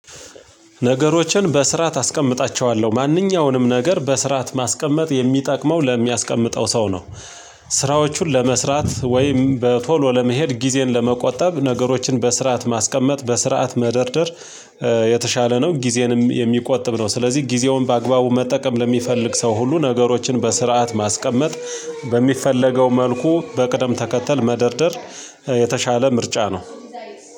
ነገሮችን በስርዓት አስቀምጣቸዋለሁ። ማንኛውንም ነገር በስርዓት ማስቀመጥ የሚጠቅመው ለሚያስቀምጠው ሰው ነው። ስራዎቹን ለመስራት ወይም በቶሎ ለመሄድ ጊዜን ለመቆጠብ ነገሮችን በስርዓት ማስቀመጥ፣ በስርዓት መደርደር፣ የተሻለ ነው ጊዜንም የሚቆጥብ ነው ስለዚህ ጊዜውን በአግባቡ መጠቀም ለሚፈልግ ሰው ሁሉ ነገሮችን በስርዓት ማስቀመጥ በሚፈለገው መልኩ በቅደም ተከተል መደርደር የተሻለ ምርጫ ነው።